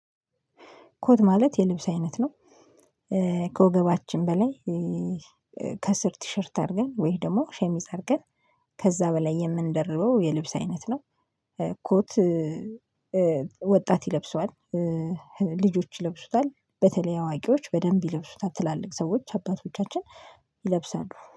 ኮት ማለት የልብስ አይነት ነው። ከወገባችን በላይ ከስር ቲሸርት አድርገን ወይም ደግሞ ሸሚዝ አድርገን ከዛ በላይ የምንደርበው የልብስ አይነት ነው። ኮት ወጣት ይለብሰዋል። ልጆች ይለብሱታል በተለይ አዋቂዎች በደንብ ይለብሱታል ትላልቅ ሰዎች አባቶቻችን ይለብሳሉ